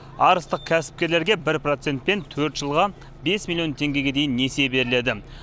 арыстық кәсіпкерлерге бір процентпен төрт жылға бес миллион теңгеге дейін несие беріледі